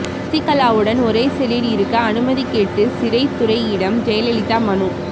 சசிகலாவுடன் ஒரே செல்லில் இருக்க அனுமதி கேட்டு சிறைத்துறையிடம் ஜெயலலிதா மனு